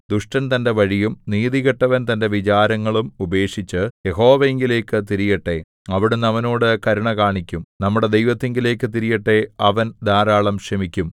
ദുഷ്ടൻ തന്റെ വഴിയും നീതികെട്ടവൻ തന്റെ വിചാരങ്ങളും ഉപേക്ഷിച്ചു യഹോവയിങ്കലേക്കു തിരിയട്ടെ അവിടുന്ന് അവനോട് കരുണ കാണിക്കും നമ്മുടെ ദൈവത്തിങ്കലേക്ക് തിരിയട്ടെ അവൻ ധാരാളം ക്ഷമിക്കും